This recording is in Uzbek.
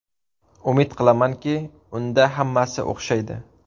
Umid qilamanki, unda hammasi o‘xshaydi.